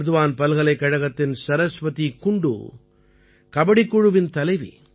பர்த்வான் பல்கலைக்கழகத்தின் சரஸ்வதி குண்டூ கபடிக் குழுவின் தலைவி